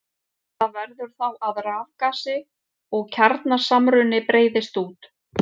Það verður þá að rafgasi og kjarnasamruni breiðist út.